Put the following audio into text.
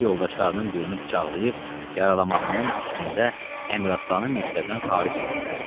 Axırda yoldaşlarının birini bıçaqlayıb yaralamağının üstündə Əmiraslanı məktəbdən xaric elədilər.